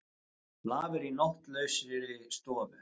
Lafir í nóttlausri stofu.